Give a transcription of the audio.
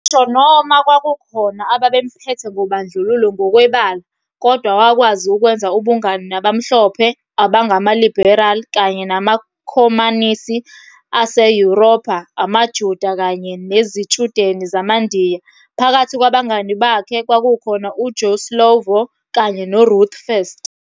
Ngisho noma kwakukhokna ababemphethe ngobandlululo ngokwebala, kodwa wakwazi ukwenza ubungani nabamhlophe abangama-liberal, kanye namakhomanisi aseYuropha, amaJuda, kanye nezitshudeni zamaNdiya, phakathi kwabangani bakhe kwakukhona u-Joe Slovo kanye noRuth First.